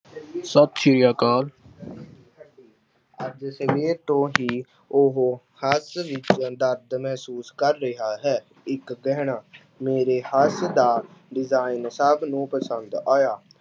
ਸਤਿ ਸ੍ਰੀ ਅਕਾਲ ਅੱਜ ਸਵੇਰ ਤੋਂ ਹੀ ਉਹ ਹੱਥ ਵਿੱਚ ਦਰਦ ਮਹਿਸੂਸ ਕਰ ਰਿਹਾ ਹੈ ਇੱਕ ਗਹਿਣਾ ਮੇਰੇ ਹੱਥ ਦਾ design ਸਭ ਨੂੰ ਪਸੰਦ ਆਇਆ।